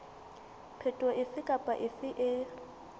phetoho efe kapa efe e